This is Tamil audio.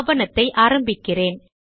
ஆவணத்தை ஆரம்பிக்கிறேன்